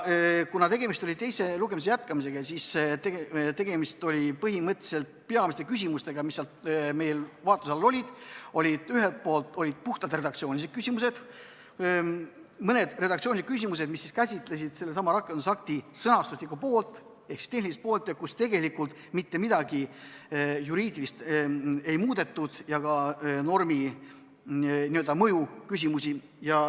Kuna tegemist oli teise lugemise jätkamisega, siis meil olid vaatluse all ühelt poolt mõned puhtalt redaktsioonilised küsimused, mis käsitlesid sellesama rakendusakti sõnastuslikku ehk tehnilist poolt, ja kus ei muudetud mitte midagi juriidilist ega ka normi n-ö mõju küsimusi.